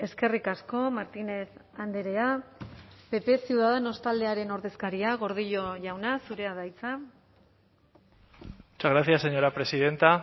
eskerrik asko martínez andrea pp ciudadanos taldearen ordezkaria gordillo jauna zurea da hitza muchas gracias señora presidenta